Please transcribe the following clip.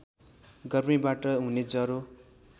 गर्मीबाट हुने ज्वरो